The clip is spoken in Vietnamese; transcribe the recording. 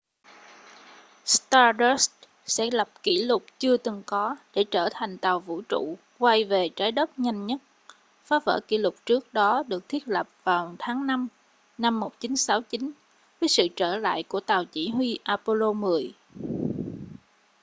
stardust sẽ lập kỷ lục chưa từng có để trở thành tàu vũ trụ quay về trái đất nhanh nhất phá vỡ kỷ lục trước đó được thiết lập vào tháng năm năm 1969 với sự trở lại của tàu chỉ huy apollo x